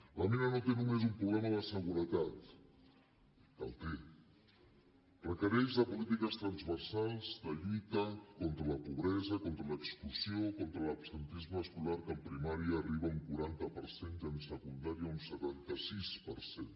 la mina no té només un problema de seguretat que el té requereix polítiques transversals de lluita contra la pobresa contra l’exclusió contra l’absentisme escolar que a primària arriba a un quaranta per cent i a secundària a un setanta sis per cent